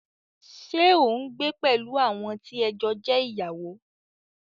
Ṣé o n gbé pẹ̀lú àwọn tí ẹ jọ jẹ́ ìyàwó?